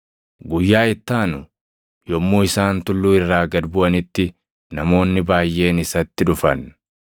Guyyaa itti aanu, yommuu isaan tulluu irraa gad buʼanitti namoonni baayʼeen isatti dhufan.